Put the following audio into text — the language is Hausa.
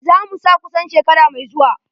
Za mu sa kusan shekaran mai zuwa.